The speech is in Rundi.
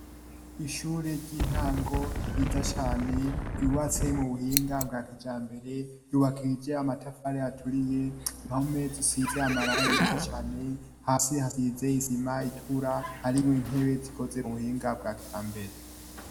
Ishure ry'intango ryiza cane ryubatse mu buhinga bwa kijambere, ryubakishije amatafari aturiye, impome zisize amarangi meza cane, hasi hasize isima itura, harimwo intebe zikoze mu buhinga bwa kijambere.